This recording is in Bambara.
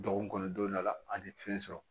Dɔgɔkun kɔnɔ don dɔ la a tɛ fɛn sɔrɔ